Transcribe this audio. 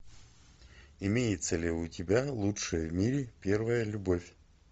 имеется ли у тебя лучшая в мире первая любовь